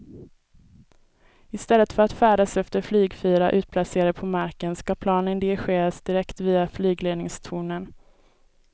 I stället för att färdas efter flygfyrar utplacerade på marken ska planen dirigeras direkt via flygledningstornen.